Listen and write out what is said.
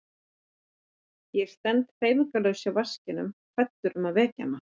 Ég stend hreyfingarlaus hjá vaskinum hræddur um að vekja hana.